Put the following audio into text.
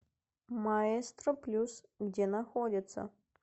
маэстро плюс где находится